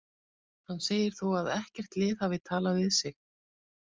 Hann segir þó að ekkert lið hafi talað við sig.